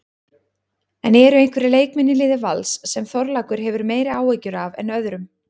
En eru einhverjir leikmenn í liði Vals sem Þorlákur hefur meiri áhyggjur af en öðrum?